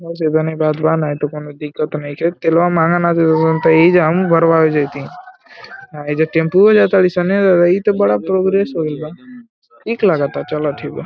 बस एतने बात ब नाय त कोनो दिक्कत नइखे तेलवा महंगा ना एजा हमू भरवावे जैती एजा टेम्पू जा तरिसन ए दादा इ तो बड़ा प्रोग्रेस होईल बा ठीक लगता चल ठीक बा